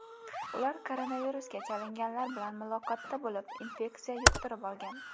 Ular koronavirusga chalinganlar bilan muloqotda bo‘lib, infeksiya yuqtirib olgan.